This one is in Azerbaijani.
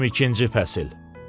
22-ci Fəsil.